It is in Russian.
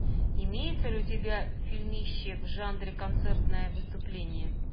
имеется ли у тебя фильмище в жанре концертное выступление